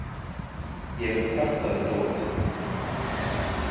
Ég mun kvarta við Dóróteu.